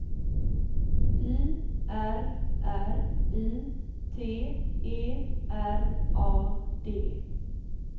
I R R I T E R A D